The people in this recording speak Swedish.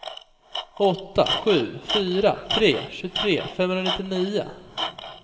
åtta sju fyra tre tjugotre femhundranittionio